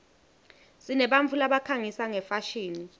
sinebantfu labakhangisa ngefashini